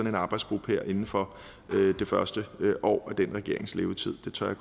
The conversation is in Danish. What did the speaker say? en arbejdsgruppe her inden for det første år af den regerings levetid det tør